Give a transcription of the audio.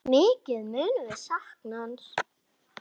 Mikið munum við sakna hans.